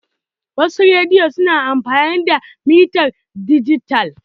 Wasu rediyo su na amfani da mitar dijital.